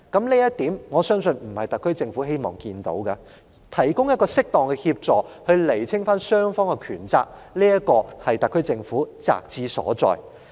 我相信這並非特區政府所願見的，所以提供適當協助、釐清雙方權責，就是特區政府責之所在。